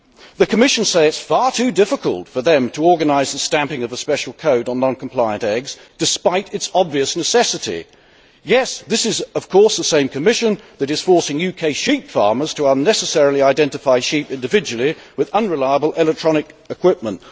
The Commission say it is far too difficult for them to organise the stamping of a special code on non compliant eggs, despite its obvious necessity. Yes, this is, of course, the same Commission that is forcing UK sheep farmers to unnecessarily identify sheep individually with unreliable electronic equipment.